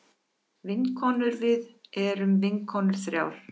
Vinkonurvið erum vinkonur þrjár.